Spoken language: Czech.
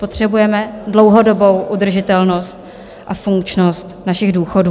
Potřebujeme dlouhodobou udržitelnost a funkčnost našich důchodů.